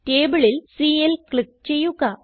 tableൽ cell click ചെയ്യുക